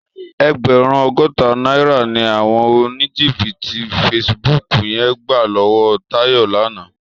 Ègbèrún ógótá nàirá ni áwòn ónìjíbìtí fésibúk yèn gbá lòwò Tayo làná